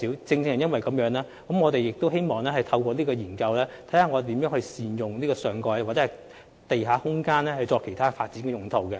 正因如此，我們希望透過有關研究，審視能如何善用上蓋或地下空間作其他發展用途。